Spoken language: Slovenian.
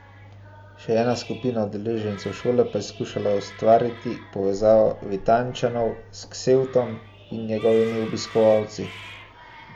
Še ena skupina udeležencev šole pa je skušala ustvariti povezavo Vitanjčanov s Ksevtom in njegovimi obiskovalci.